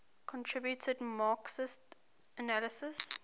contributed marxist analyses